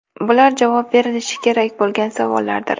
Bular javob berilishi kerak bo‘lgan savollardir.